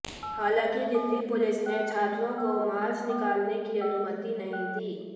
हलांकि दिल्ली पुलिस ने छात्रों को मार्च निकालने की अनुमति नहीं दी